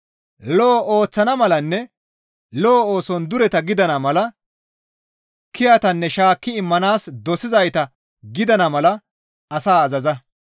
Lo7o ooththana malanne lo7o ooson dureta gidana mala, kiyatanne shaakki immanaas dosizayta gidana mala asaa azaza.